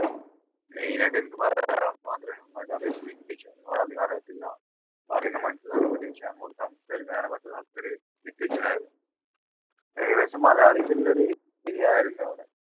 main ആയിട്ട് എനിക്ക് മലയാളം മാത്രമേ അറിയത്തുള്ളൂ english ഒന്നും അധികം അറിയത്തില്ല പറയുന്ന മനസ്സിലാക്കാൻ പറ്റും പക്ഷേ അങ്ങോട്ട് സംസാരിക്കാൻ പറ്റുന്ന അത്രയും ഏകദേശം malayalees ഉള്ള ഒരു area ആയിരുന്നു